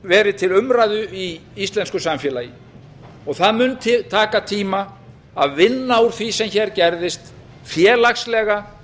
verið til umræðu í íslensku samfélagi það mundi taka tíma að vinna úr því sem hér gerðist félagslega